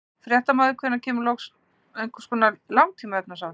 Fréttamaður: Hvenær kemur einhvers konar langtíma efnahagsáætlun?